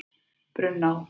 Brunná